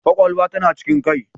Kwakwalwa tana cikin Kai